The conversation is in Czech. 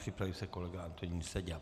Připraví se kolega Antonín Seďa.